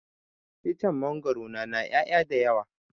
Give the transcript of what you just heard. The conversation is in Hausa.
Icen mangwaro na na ƴaya da yawa